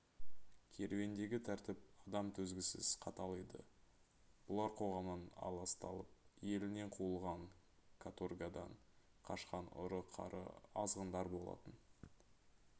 керуендегі тәртіп адам төзгісіз қатал еді бұлар қоғамнан аласталып елінен қуылған каторгадан қашқан ұры-қары азғындар болатын